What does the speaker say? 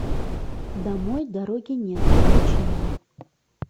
домой дороги нет включи мне